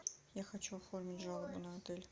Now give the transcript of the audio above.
я хочу оформить жалобу на отель